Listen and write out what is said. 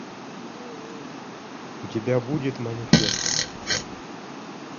у тебя будет манифеста